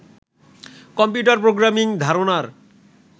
computer programming ধারণার